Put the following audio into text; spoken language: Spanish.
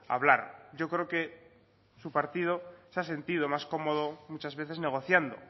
hablar yo creo que su partido se ha sentido más cómodo muchas veces negociando